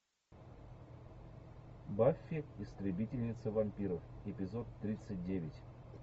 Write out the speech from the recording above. баффи истребительница вампиров эпизод тридцать девять